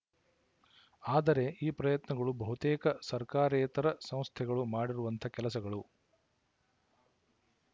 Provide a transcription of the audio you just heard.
ಆದರೆ ಈ ಪ್ರಯತ್ನಗಳು ಬಹುತೇಕ ಸರ್ಕಾರೇತರ ಸಂಸ್ಥೆಗಳು ಮಾಡಿರುವಂಥ ಕೆಲಸಗಳು